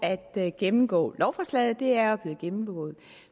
at gennemgå lovforslaget for det er jo blevet gennemgået